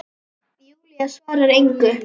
Júlía svarar engu.